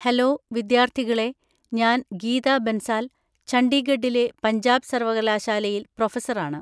Hello, വിദ്യാർത്ഥികളേ ഞാൻ ഗീതാ ബൻസാൽ, ഛണ്ഡീഗഡിലെ പഞ്ചാബ് സർവ്വകലാശാലയിൽ പ്രൊഫസറാണ്.